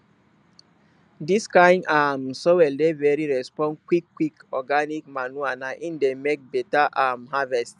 dis kind um soil dey very respond quick quick quick organic manure na im dey make beta um harvest